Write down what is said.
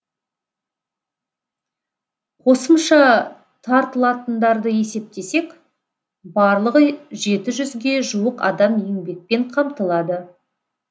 қосымша тартылатындарды есептесек барлығы жеті жүзге жуық адам еңбекпен қамтылады